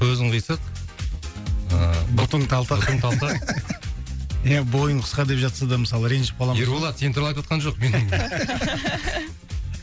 көзің қисық ыыы бұтың талтақ иә бойың қысқа деп жатса да мысалы ренжіп қаламыз ғой ерболат сен туралы айтыватқан жоқ